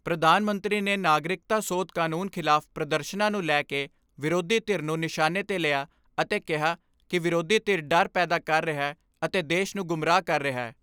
ਪ੍ਰਧਾਨ ਮੰਤਰੀ ਨੇ ਨਾਗਰਿਕਤਾ ਸੋਧ ਕਾਨੂੰਨ ਖਿਲਾਫ ਪ੍ਰਦਰਸ਼ਨਾਂ ਨੂੰ ਲੈ ਕੇ ਵਿਰੋਧੀ ਧਿਰ ਨੂੰ ਨਿਸ਼ਾਨੇ 'ਤੇ ਲਿਆ ਅਤੇ ਕਿਹਾ ਕਿ ਵਿਰੋਧੀ ਧਿਰ ਡਰ ਪੈਦਾ ਕਰ ਰਿਹੈ ਅਤੇ ਦੇਸ਼ ਨੂੰ ਗੁੰਮਰਾਹ ਕਰ ਰਿਹੈ।